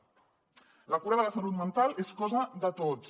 la cura de la salut mental és cosa de tots